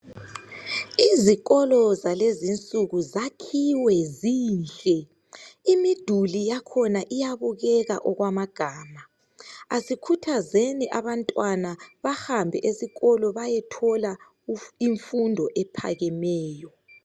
Izikolo zalezi insuku zakhiwe zinhle. Imiduli yakhona iyabukeka okwamagama. Asikhuthazeni abantwana bahambe esikolo beyethola imfundo ephakemeyo.